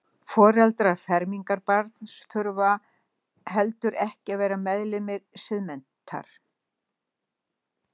Foreldrar fermingarbarns þurfa heldur ekki að vera meðlimir Siðmenntar.